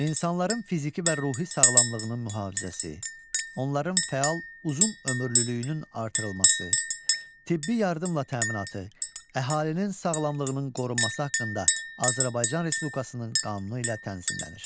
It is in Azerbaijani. İnsanların fiziki və ruhi sağlamlığının mühafizəsi, onların fəal uzun ömürlülüyünün artırılması, tibbi yardımla təminatı, əhalinin sağlamlığının qorunması haqqında Azərbaycan Respublikasının qanunu ilə tənzimlənir.